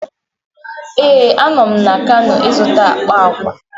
Ee, a nọ m na Kano izụta akpa agwa